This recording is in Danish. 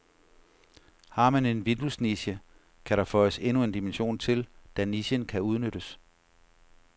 Har man en vinduesniche, kan der føjes endnu en dimension til, da nichen kan udnyttes.